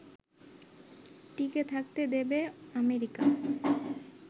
টিকে থাকতে দেবে আমেরিকা